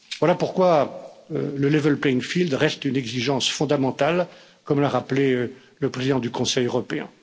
Voilà pourquoi le level playing field reste une exigence fondamentale, comme l'a rappelé le président du Conseil européen.